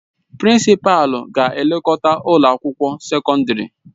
Prinsịpalu na-elekọta ụlọ akwụkwọ sekọndrị.